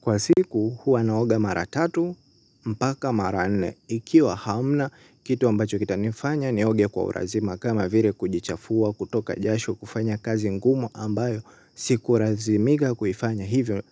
Kwa siku huwa naoga mara tatu mpaka mara nne ikiwa hamna kitu ambacho kitanifanya nioge kwa ulazima kama vile kujichafua kutoka jasho kufanya kazi ngumu ambayo siku lazimika kufanya hivyo